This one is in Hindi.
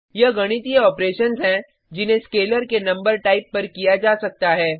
यह गणितीय ऑपरेशन्स हैं जिन्हें स्केलर के नंबर टाइप पर किया जा सकता है